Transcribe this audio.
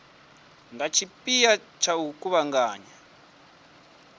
nga tshipia tsha u kuvhanganya